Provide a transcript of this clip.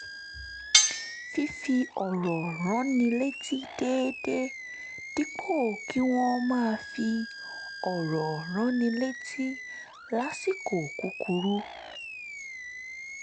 fífi ọ̀rọ̀ ránni létí déédéé dípò kí wọ́n máa fi ọ̀rọ̀ ránni létí lásìkò kúkúrú